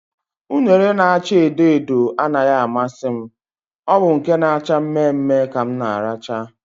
Unere na acha edo edo anaghị amasị, ọ bụ nke na acha mme mme ka m na aracha